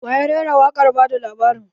Waya rera waƙar ba da labarin?